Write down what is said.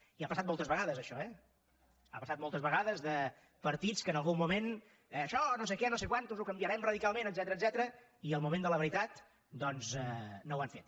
i ha passat moltes vegades això eh ha passat moltes vegades que partits que en algun moment això no sé què no sé quants ho canviarem radicalment etcètera al moment de la veritat doncs no ho han fet